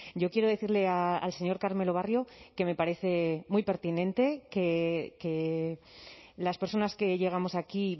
yo quiero decirle al señor carmelo barrio que me parece muy pertinente que las personas que llegamos aquí